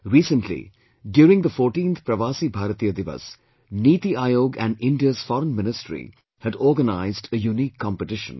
Recently, during the 14th Pravasi Bharatiya Diwas, Niti Aayog and India's Foreign Ministry had organized a unique competition